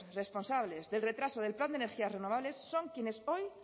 responsables del retraso del plan de energías renovables son quienes hoy